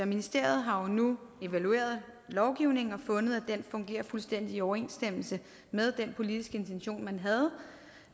ministeriet har jo nu evalueret lovgivningen og fundet at den fungerer fuldstændig i overensstemmelse med den politiske intention man havde